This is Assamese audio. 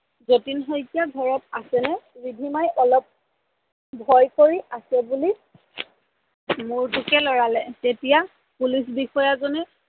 জতিন শইকীয়া ঘৰত আছে নে? ৰিধিমাই ভয় কৰি আছে বুলি মূৰটোকে লৰালে, তেতিয়া পুলিচ বিষয়াজনে